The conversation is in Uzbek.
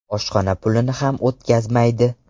Oshxona pulini ham o‘tkazmaydi.